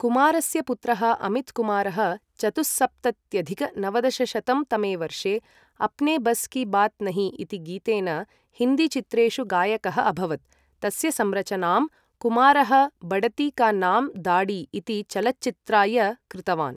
कुमारस्य पुत्रः अमितकुमारः चतुःसप्तत्यधिक नवदशशतं तमे वर्षे अपने बस की बात नही इति गीतेन हिन्दी चित्रेषु गायकः अभवत्, तस्य संरचनां कुमारः बडती का नाम दाडी इति चलच्चित्राय कृतवान्।